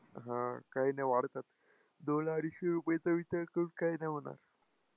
हा, काही नाही वाढतात. दोन-अडीचशे रुपयेचा विचार करून काही नाही होणार.